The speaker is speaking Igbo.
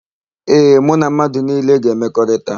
Ee, mụ na mmadụ niile ga-emekọrịta.